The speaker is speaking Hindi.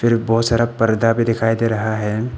बहोत सारा पर्दा भी दिखाई दे रहा है।